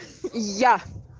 я